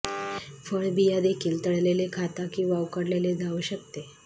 फळ बिया देखील तळलेले खाता किंवा उकडलेले जाऊ शकते